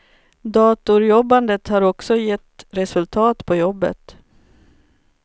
Datorjobbandet har också gett resultat på jobbet.